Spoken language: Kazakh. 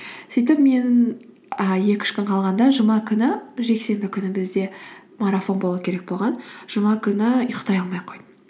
сөйтіп мен і екі үш күн қалғанда жұма күні жексенбі күні бізде марафон болу керек болған жұма күні ұйықтай алмай қойдым